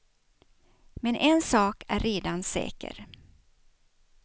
Men en sak är redan säker.